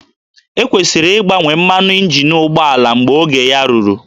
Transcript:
E kwesịrị ịgbanwe mmanụ injin ụgbọala mgbe oge ya ruru